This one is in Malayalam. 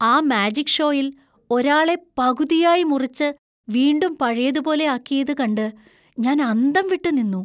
ആ മാജിക് ഷോയിൽ ഒരാളെ പകുതിയായി മുറിച്ച് വീണ്ടും പഴയതുപോലെ ആക്കിയത് കണ്ട് ഞാൻ അന്തംവിട്ട് നിന്നു.